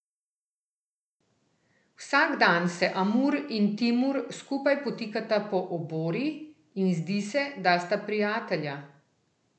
Vsak dan se Amur in Timur skupaj potikata po obori in zdi se, da sta prijatelja.